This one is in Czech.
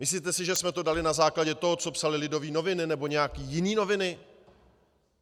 Myslíte si, že jsme to dali na základě toho, co psaly Lidové noviny nebo nějaké jiné noviny?